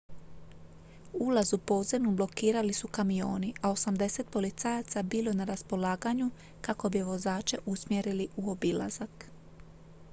ulaz u podzemnu blokirali su kamioni a 80 policajaca bilo je na raspolaganju kako bi vozače usmjerili u obilazak